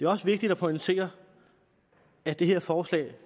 også vigtigt at pointere at det her forslag